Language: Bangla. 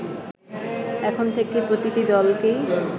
এখন থেকে প্রতিটি দলকেই